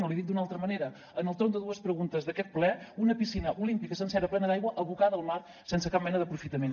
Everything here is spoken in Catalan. o li dic d’una altra manera en el torn de dues preguntes d’aquest ple una piscina olímpica sencera plena d’aigua abocada al mar sense cap mena d’aprofitament